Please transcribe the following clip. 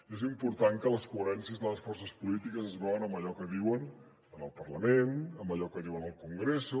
i és important que les coherències de les forces polítiques es veuen en allò que diuen en el parlament en allò que diuen al congreso